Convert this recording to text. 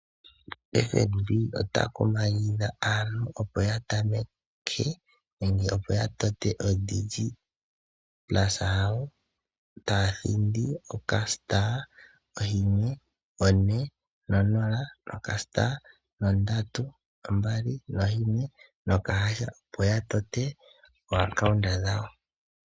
FNB ota kumagidha aantu opo yatameke nenge opo ya tote ODigit Plus taya thindi *140*321# opo ya tote oombaanga dhawo.